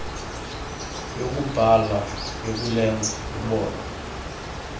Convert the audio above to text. yokubhala yokulenza lubonwe